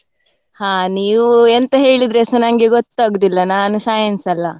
ಹಾ ನೀವು ಎಂತ ಹೇಳಿದ್ರೆಸಾ ನಂಗೆ ಗೊತ್ತಾಗುದಿಲ್ಲ, ನಾನು science ಅಲ್ಲ.